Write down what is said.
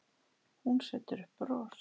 Hún setur upp bros.